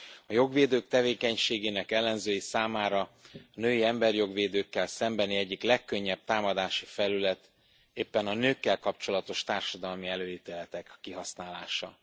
A jogvédők tevékenységének ellenzői számára a női emberijog védőkkel szembeni egyik legkönnyebb támadási felület éppen a nőkkel kapcsolatos társadalmi előítéletek kihasználása.